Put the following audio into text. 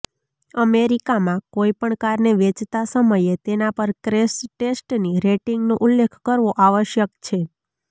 અમેરિકામાં કોઇ પણ કારને વેચતા સમયે તેના પર ક્રેશ ટેસ્ટની રેટિંગનો ઉલ્લેખ કરવો આવશ્યક છે